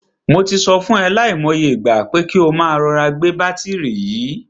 Mo ti sọ fún e lai mo iye ìgbà, pé kí o máa rọra gbé bátìrì yìí.